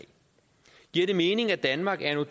giver det mening at danmark anno